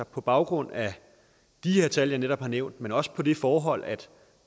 på baggrund af de tal jeg netop har nævnt men også det forhold at